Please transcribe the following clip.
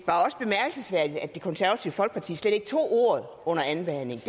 konservative folkeparti slet ikke tog ordet under andenbehandlingen